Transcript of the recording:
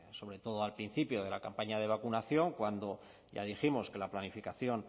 sobre todo al principio de la campaña de vacunación cuando ya dijimos que la planificación